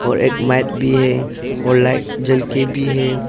एक माइक भी है और लाइट जल के भी है।